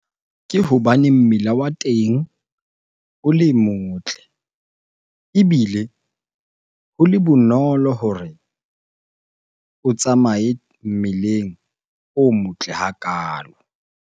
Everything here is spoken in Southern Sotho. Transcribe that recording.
Ke hobaneng mmila wa teng o le motle ebile ho le bonolo hore o tsamaye mmeleng o motle hakalo.